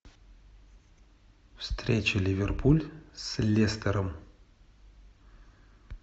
встреча ливерпуль с лестером